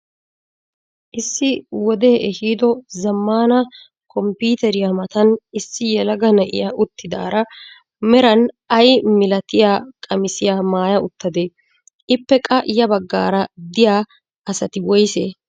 Issi wodee ehiido zammaana komppiteriyaa matan issi yelaga na'iyaa uttidaara meran ay milatiyaa qamisiyaa maaya uttadee? Ippe qa ya baggaara diyaa asati woysee?